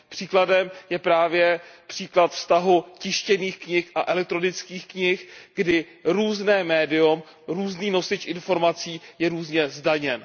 Příkladem je právě případ vztahu tištěných knih a elektronických knih, kdy různé médium, různý nosič informací je různě zdaněn.